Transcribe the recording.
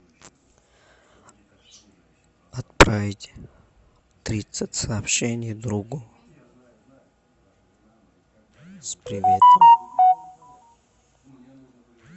отправить тридцать сообщений другу с приветом